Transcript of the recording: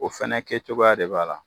O fɛnɛ kɛ cogoya de b'a la.